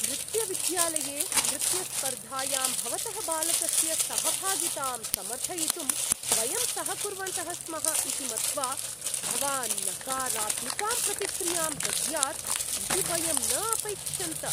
नृत्यविद्यालये, नृत्यस्पर्धायां भवतः बालकस्य सहभागितां समर्थयितुं वयं सहकुर्वन्तः स्मः इति मत्वा भवान् नकारात्मिकां प्रतिक्रियां दद्यात् इति वयं न अपैक्षन्त। (नृत्यशिक्षकः)